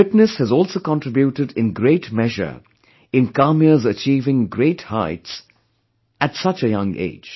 Fitness has also contributed in great measure in Kamya's achieving great heights at such a young age